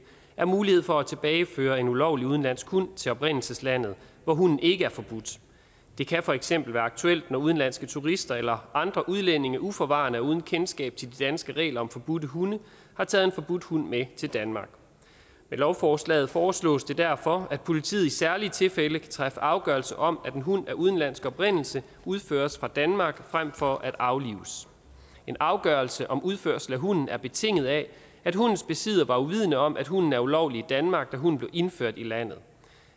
er mulighed for at tilbageføre en ulovlig udenlandsk hund til oprindelseslandet hvor hunden ikke er forbudt det kan for eksempel være aktuelt når udenlandske turister eller andre udlændinge uforvarende og uden kendskab til de danske regler om forbudte hunde har taget en forbudt hund med til danmark med lovforslaget foreslås det derfor at politiet i særlige tilfælde kan træffe afgørelse om at en hund af udenlandsk oprindelse udføres fra danmark frem for at aflives en afgørelse om udførsel af hunden er betinget af at hundens besidder var uvidende om at hunden er ulovlig i danmark da hunden blev indført i landet